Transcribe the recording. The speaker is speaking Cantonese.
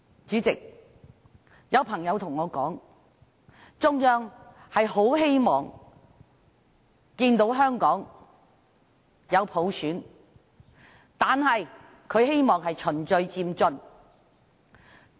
主席，有朋友對我說，中央很希望看到香港有普選，但希望是循序漸進的。